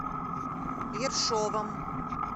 ершовом